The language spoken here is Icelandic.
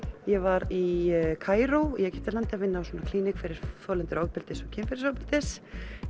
ég var í Kaíró í Egyptalandi að vinna á klíník fyrir þolendur ofbeldis og kynferðisofbeldis